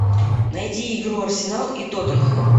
найди игру арсенал и тоттенхэм